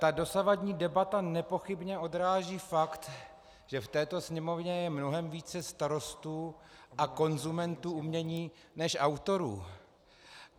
Ta dosavadní debata nepochybně odráží fakt, že v této Sněmovně je mnohem více starostů a konzumentů umění než autorů.